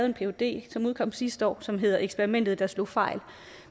en phd som udkom sidste år og som hedder eksperimentet der slog fejl